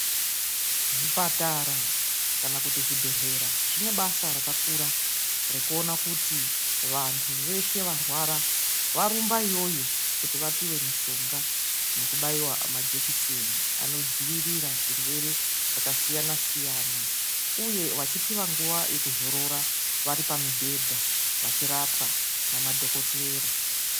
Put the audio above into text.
Zvipatara kana kuti zvibhedhlera zvinoita basa rakakura rekuona kuti vandu veshe varwara vorumba iyoyo kuti vapiwe mitombo nekubaiwa nemajekiseni anodzivirira zvirwere zvakasiyana siyana uye vachiphwa nguva yekuzorora vari pamibhedha vachirapwa nemadhokotera.